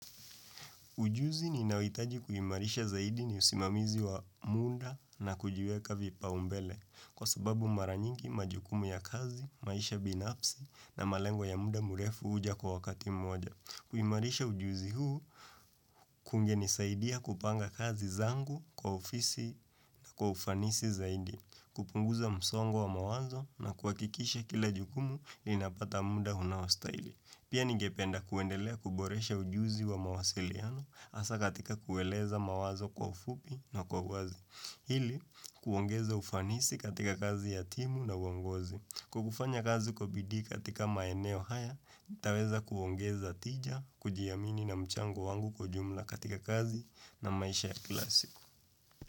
Ujuzi ninaohitaji kuimarisha zaidi ni usimamizi wa muda na kujiweka vipaumbele kwa sababu mara nyingi majukumu ya kazi, maisha binafsi na malengo ya muda mrefu huja kwa wakati mmoja. Kuimarisha ujuzi huu kungenisaidia kupanga kazi zangu kwa ofisi na kwa ufanisi zaidi, kupunguza msongo wa mawazo na kuhakikisha kila jukumu inapata muda unaostahili. Pia ningependa kuendelea kuboresha ujuzi wa mawasiliano hasa katika kueleza mawazo kwa ufupi na kwa uwazi. Ili, kuongeza ufanisi katika kazi ya timu na uongozi. Kwa kufanya kazi kwa bidii katika maeneo haya, yataweza kuongeza tija, kujiamini na mchango wangu kwa jumla katika kazi na maisha ya kila siku.